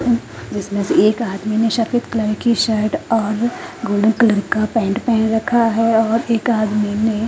जिसमें से एक आदमी ने सफेद कलर की शर्ट और गोल्डन कलर का पैंट पहन रखा है और एक आदमी ने --